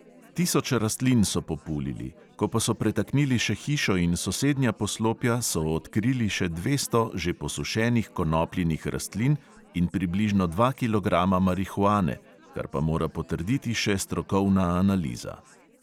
Tisoč rastlin so populili, ko pa so pretaknili še hišo in sosednja poslopja, so odkrili še dvesto že posušenih konopljinih rastlin in približno dva kilograma marihuane, kar pa mora potrditi še strokovna analiza.